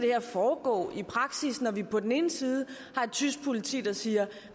foregå i praksis når vi på den ene side har et tysk politi der siger